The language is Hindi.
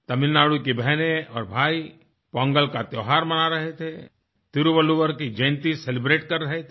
तमिलनाडु की बहनें और भाई पोंगल का त्योहार मना रहे थे तिरुवल्लुवर की जयंती celebrateकर रहे थे